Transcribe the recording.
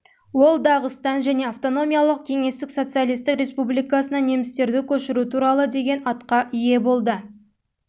ол дағыстан және автономиялық кеңестік социалистік республикасынан немістерді көшіру туралы деген атқа ие болды